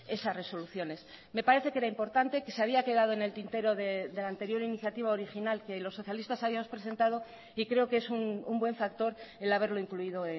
esas resoluciones me parece que era importante que se había quedado en el tintero de la anterior iniciativa original que los socialistas habíamos presentado y creo que es un buen factor el haberlo incluido